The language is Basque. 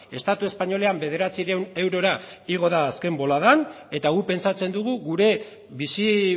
estatu espainolean bederatziehun eurora igo da azken boladan eta guk pentsatzen dugu gure bizi